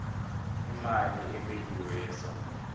imali ebekiwe yesondlo